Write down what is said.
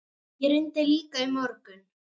Ég reyndi líka í morgun.